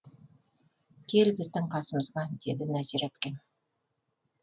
кел біздің қасымызға деді нәзира әпкем